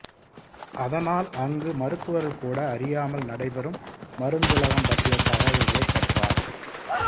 அதனால் அங்கு மருத்துவர்கள் கூட அறியாமல் நடைபெறும் மருந்துலகம் பற்றிய தகவல்களைப் பெற்றார்